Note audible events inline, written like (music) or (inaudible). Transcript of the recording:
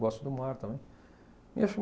Gosto do mar também. (unintelligible)